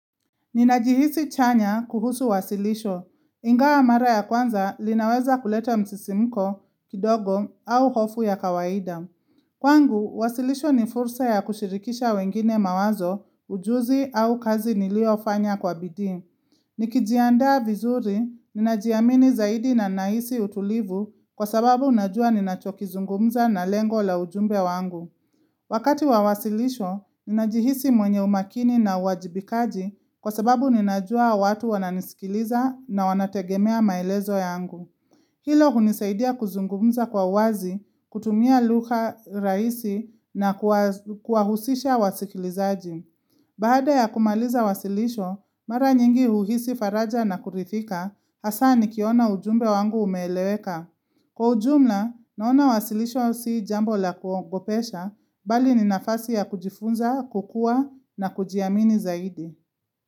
Ninajihisi chanya kuhusu wasilisho, ingawa mara ya kwanza linaweza kuleta msisimko, kidogo au hofu ya kawaida. Kwangu, wasilisho ni fursa ya kushirikisha wengine mawazo, ujuzi au kazi niliofanya kwa bidii. Nikijiandaa vizuri, ninajiamini zaidi na ninahisi utulivu kwa sababu najua ninachokizungumza na lengo la ujumbe wangu. Wakati wa wasilisho, ninajihisi mwenye umakini na uwajibikaji kwa sababu ninajua watu wananisikiliza na wanategemea maelezo yangu. Hilo hunisaidia kuzungumza kwa wazi, kutumia lugha rahisi na kuwahusisha wasikilizaji. Baada ya kumaliza wasilisho, mara nyingi huhisi faraja na kuridhika hasa nikiona ujumbe wangu umeeleweka. Kwa ujumla, naona wasilisho si jambo la kuogopesha bali ni nafasi ya kujifunza, kukua na kujiamini zaidi.